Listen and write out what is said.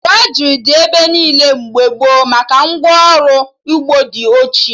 Drọjrị dị ebe niile mgbe gboo maka ngwa ọrụ ugbo dị ochie